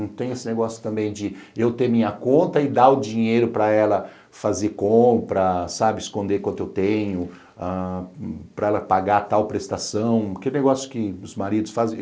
Não tem esse negócio também de eu ter minha conta e dar o dinheiro para ela fazer compra, sabe, esconder quanto eu tenho, para ela pagar tal prestação, aquele negócio que os maridos fazem.